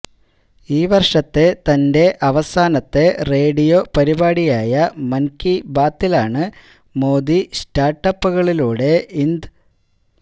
ഈ വർഷത്തെ തന്റെ അവസാനത്തെ റേഡിയോ പരിപാടിയായ മൻകി ബാത്തിലാണ് മോദി സ്റ്റാർട്ട ് അപ്പുകളിലൂടെ ഇന്ത്